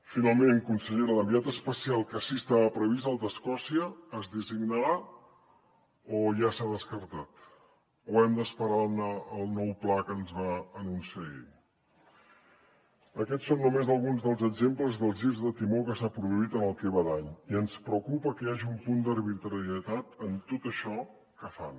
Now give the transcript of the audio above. finalment consellera l’enviat especial que sí que estava previst el d’escòcia es designarà o ja s’ha descartat o hem d’esperar al nou pla que ens va anunciar ahir aquests són només alguns dels exemples dels girs de timó que s’han produït en el que va d’any i ens preocupa que hi hagi un punt d’arbitrarietat en tot això que fan